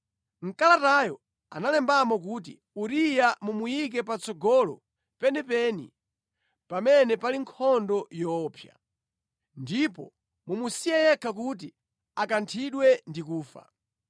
Mʼkalatayo analembamo kuti, “Uriya mumuyike patsogolo penipeni, pamene pali nkhondo yoopsa. Ndipo mumusiye yekha kuti akanthidwe ndi kufa.”